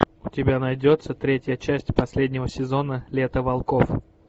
у тебя найдется третья часть последнего сезона лето волков